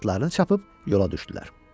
Sonra atlarını çapıb yola düşdülər.